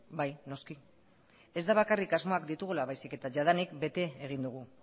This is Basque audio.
bai noski ez da bakarrik asmoak ditugula baizik eta jadanik bete egin dugu